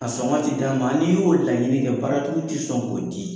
A sɔngɔ ti d'an ma, n'i y'o laɲini kɛ baaratigiw tɛ sɔn k'o di.